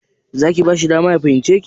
Za ki bashi dama ya fahimce ki?